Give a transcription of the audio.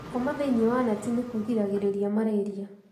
Gũkoma thĩinĩ wa neti nĩ kũgiragĩrĩrĩria Mararia